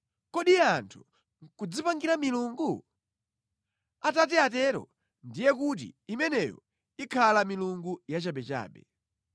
Kodi anthu nʼkudzipangira milungu? Atati atero ndiye kuti imeneyo ikhala milungu yachabechabe.”